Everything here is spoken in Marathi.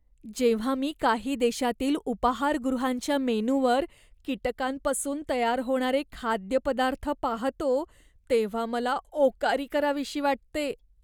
जेव्हा मी काही देशांतील उपाहारगृहांच्या मेनूवर कीटकांपासून तयार होणारे खाद्यपदार्थ पाहतो, तेव्हा मला ओकारी करावीशी वाटते.